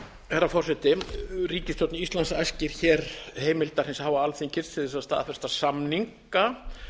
herra forseti ríkisstjórn íslands æskir hér heimildar hins háa alþingis til þess að staðfesta samninga